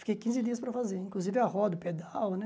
Fiquei quinze dias para fazer, inclusive a roda, o pedal, né?